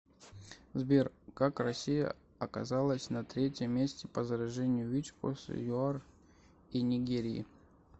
сбер как россия оказалась на третьем месте по заражению вич после юар и нигерии